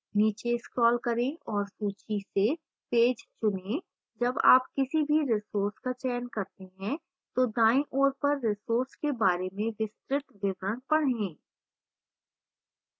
नीचे scroll करें और सूची से page चुनें जब आप किसी भी resource का चयन करते हैं तो दाईं ओर पर resource के बारे में विस्तृत विवरण पढ़ें